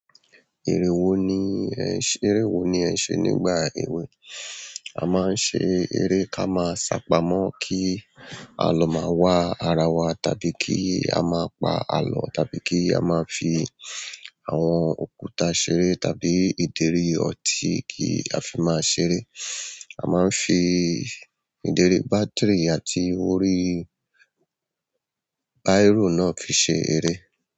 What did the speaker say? Ère wo ni ẹ ń ṣe, ère wo ni ẹ ń ṣe nígbà èwe? A máa ń ṣe ere ká máa ṣápamọ́ kí àlọ́ máa wà ara wa, tàbí kí a máa pa àlọ́, tàbí kí a máa fi àwọn òkúta ṣeré, tàbí ìdérí ọtí kí a fi máa ṣeré. A máa n fi ideri battery àti orí biro náà fi ṣeré.